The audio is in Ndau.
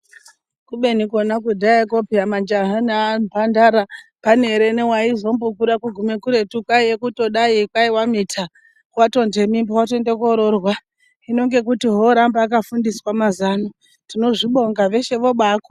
Kubeni kona kudhaya majaha nemhandara pane here waizombogume kuretu kwaiva kudai watomita watoone mimba hino ngokuti aanoramba akafundiswa mazuva ano tinozvibonga.